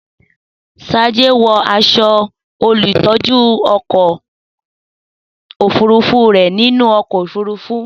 Sade, wọ aṣọ olùtọ́jú ọkọ̀ òfurufú rẹ nínú ọkọ̀ òfurufú.